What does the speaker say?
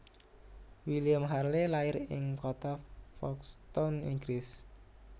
William Harvey lair ing kota Folkstone Inggris